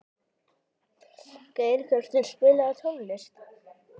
Geirhjörtur, spilaðu tónlist.